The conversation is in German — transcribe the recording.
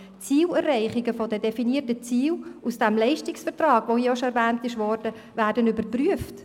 Die Erreichung der definierten Ziele aus dem Leistungsvertrag wird überprüft.